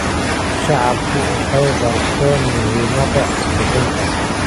Shacabku waxay barteen muhiimadda cod bixinta.